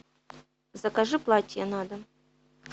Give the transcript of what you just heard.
закажи платье на дом